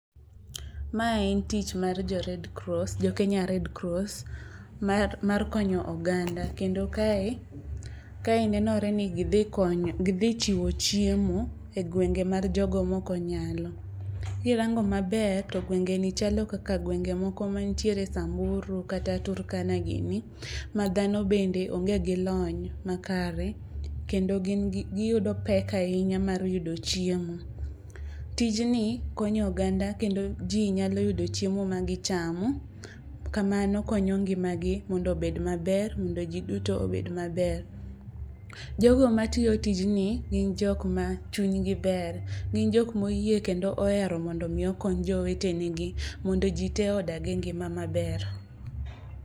Ma en tich mar jo Red Cross jo Kenya Red Cross mar konyo oganda. Kendo kae kae nenore ni gidhi konyo gidhi chiwo chiemo e gwenge mag jogo mokonyalo. Kirango maber to gwenge ni chalo kaka gwenge moko manitiere Samburu kata Turkana gini. Madhano bende onge gi lony makare. Kendo gin gi giyudo pek ahinya mar yudo chiemo. Tijni konyo oganda kendo ji nyalo yudo chiemo magichamo. Kamano konyo ngima gi mondo obed maber mondo giduto obed maber. Jogo matiyo tijni gin jok ma chinygi ber. Gin jok moyie kondo ohero mondo mi okony jowetene gi mondo ji te odag gi ngima maber.